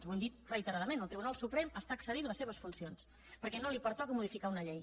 ho hem dit reiteradament el tribunal suprem està excedint les seves funcions perquè no li pertoca modificar una llei